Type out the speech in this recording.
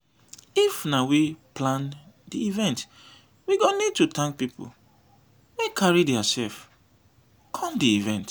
if na we dey plan di event we go need to thank pipo wey carry their self come di event